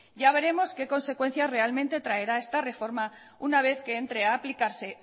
ya veremos qué consecuencias realmente traerá esta reforma una vez que entre a aplicarse